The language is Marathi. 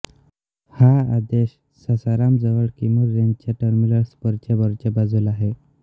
हा आदेश सासाराम जवळ किमूर रेंजच्या टर्मिनल स्परच्या वरच्या बाजूला आहे